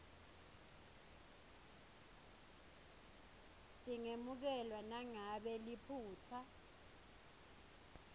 tingemukelwa nangabe liphutsa